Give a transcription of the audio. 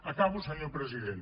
acabo senyor president